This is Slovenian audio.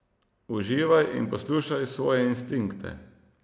Uživaj in poslušaj svoje instinkte.